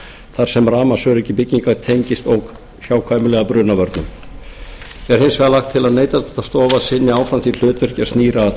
þar sem rafmagnsöryggi bygginga tengist óhjákvæmilega brunavörnum er hins vegar lagt til að neytendastofa sinni áfram því hlutverki sem snýr að